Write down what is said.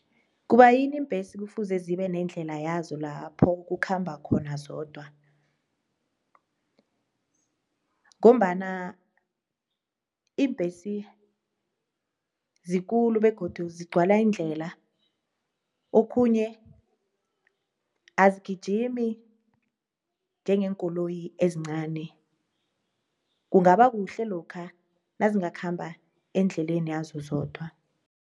Kubayini iimbhesi kufuze zibe nendlela yazo lapho kukhamba khona zodwa? Ngombana iimbhesi zikulu begodu zigcwala indlela okhunye azigijimi njengeenkoloyi ezincani kungaba kuhle lokha nazingakhamba endleleni yazo zodwa.